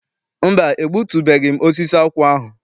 Mba, egbutubeghị m osisi akwụ ahụ.